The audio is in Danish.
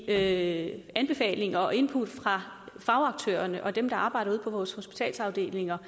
af anbefalinger og input fra fagaktørerne og dem der arbejder ude på vores hospitalsafdelinger